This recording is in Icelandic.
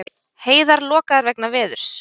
Heiðar lokaðar vegna veðurs